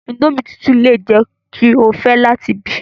Indomie tutu le jẹ ki o fẹ lati bi